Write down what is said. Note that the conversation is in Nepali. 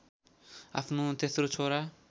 आफ्नो तेश्रो छोरा